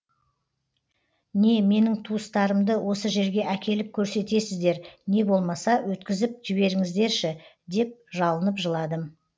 не менің туыстарымды осы жерге әкеліп көрсетесіздер не болмаса өткізіп жіберіңіздерші деп жалынып жыладым